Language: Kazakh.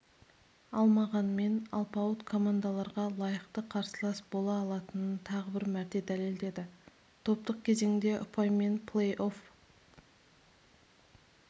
алмағанмен алпауыт командаларға лайықты қарсылас бола алатынын тағы бір мәрте дәлелдеді топтық кезеңде ұпаймен плей-офф